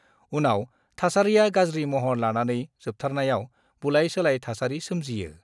उनाव थासारिआ गाज्रि महर लानानै जोबथारनायाव बुलाय-सोलाय सोमजियो।